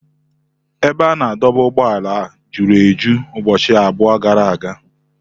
Ebe a na-adọba ụgbọala juru eju ụbọchị abụọ gara aga.